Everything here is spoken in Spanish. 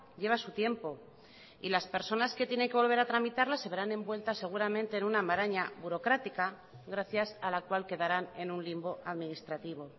lleva su tiempo y las personas que tiene que volver a tramitarlas se verán envueltas seguramente en una maraña burocrática gracias a la cual quedarán en un limbo administrativo